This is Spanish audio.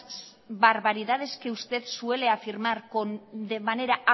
barbaridades que usted suele afirmar de manera